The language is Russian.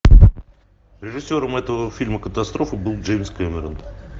режиссером этого фильма катастрофы был джеймс кэмерон